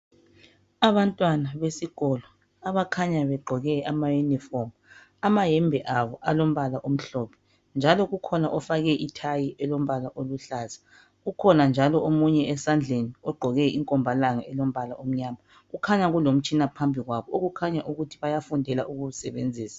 abantwana besikolo abakhanya begqoke ama uniform amayembe abo alombala omhlophe njalo kukhona ofake i tie elombala oluhlaza ukhona njalo omunye esandleni ogqoke inkombalanga elombala omnyama kukhanya kulomtshina phambi kwabo okukhanya ukuthi bayafundela ukuwusebenzisa